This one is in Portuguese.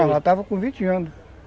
Não, ela estava com vinte anos.